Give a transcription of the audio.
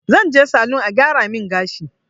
Zan je salun a gyara min gashi